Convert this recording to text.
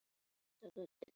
Mjaka hlutum þannig áfram.